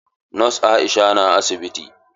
Nos Aisha na asibiti?